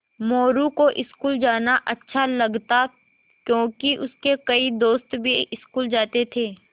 मोरू को स्कूल जाना अच्छा लगता क्योंकि उसके कई दोस्त भी स्कूल जाते थे